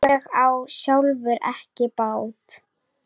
Var það vel.